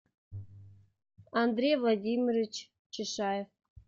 андрей владимирович чешаев